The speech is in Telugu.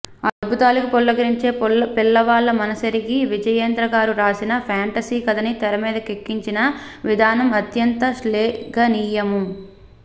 అద్భుతాలకి పులకరించే పిల్లవాళ్ళ మనసెరిగి విజయేంద్రగారు రాసిన ఫేంటసీ కధని తెరమీదకెక్కించిన విధానం అత్యంత శ్లేఘనీయము